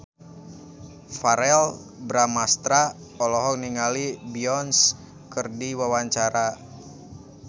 Verrell Bramastra olohok ningali Beyonce keur diwawancara